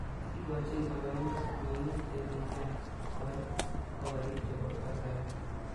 Kikochin baraindo mingi'ik chekitai koal korik chebo kasari.